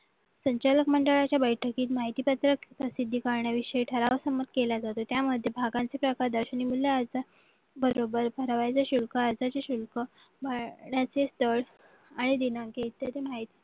संचालक मंडळाच्या बैठकीत माहिती पत्रक सिद्धीकरणाविषयी ठराव समज केला जातो त्यामध्ये भागांचे प्रकार दर्शनामूल्य असतात बरोबर शिल्प राहण्याचे स्थळ आणि दिनांक इत्यादी माहिती